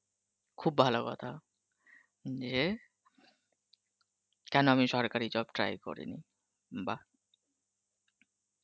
খুব ভালো কথা, যে, কেন আমি সরকারী job try করিনি, বাহহঃ